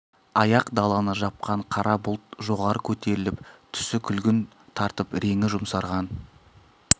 ақ даланы жапқан қара бұлт жоғары көтеріліп түсі күлгін тартып реңі жұмсарған